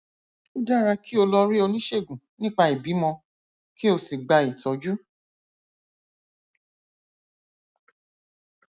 ó dára kí o lọ rí oníṣègùn nípa ìbímọ kí o sì gba ìtọjú